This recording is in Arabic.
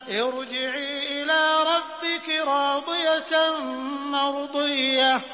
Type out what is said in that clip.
ارْجِعِي إِلَىٰ رَبِّكِ رَاضِيَةً مَّرْضِيَّةً